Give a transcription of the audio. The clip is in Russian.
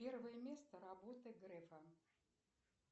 первое место работы грефа